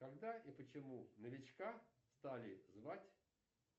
когда и почему новичка стали звать